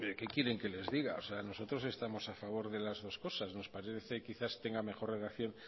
qué quieren que les diga nosotros estamos a favor de las dos cosas nos parece quizás tenga mejor relación